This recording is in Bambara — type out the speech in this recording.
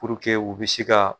Puruke u bɛ se ka